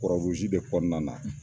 kura uruzi de kɔnɔna na